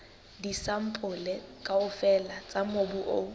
disampole kaofela tsa mobu o